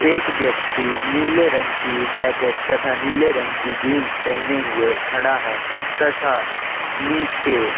एक व्यक्ति निले रंग की जैकेट तथा निले रंग की जीन्स पेहने हुए खड़ा है तथा निचे--